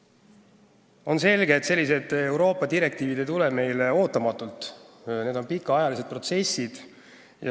Samas on selge, et selliste Euroopa direktiivide ülevõtmine ei tule meile ootamatult – need on pikaajalised protsessid.